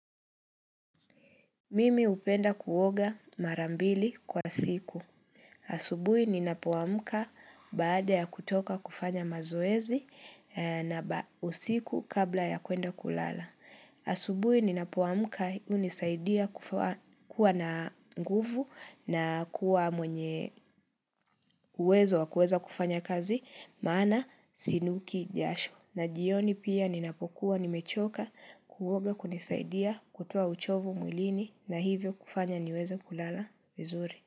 Mimi hupenda kuoga marambili kwa siku. Asubui ninapoamka, baada ya kutoka kufanya mazoezi na usiku kabla ya kuenda kulala. Asubui ninapoamuka unisaidia kuwa na nguvu na kuwa mwenye uwezo wa kuweza kufanya kazi maana sinuki jasho. Na jioni pia ninapokuwa nimechoka kuoga kunisaidia kutoa uchovu mwilini na hivyo kufanya niweze kulala bizuri.